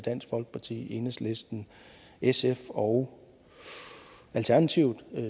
dansk folkeparti enhedslisten sf og alternativet